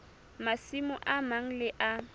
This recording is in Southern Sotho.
masimo a mang le a